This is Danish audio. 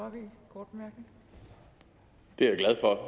om det